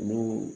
Olu